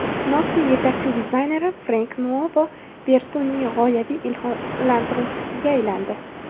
Nokia yetakchi dizayneri Frenk Nuovo Vertu’ning g‘oyaviy ilhomlantiruvchisiga aylandi.